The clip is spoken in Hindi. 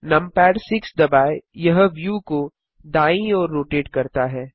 नमपैड 6 दबाएँ यह व्यू को दायीं ओर रोटेट करता है